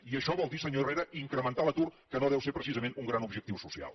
i això vol dir senyor herrera incrementar l’atur que no deu ser precisament un gran objectiu social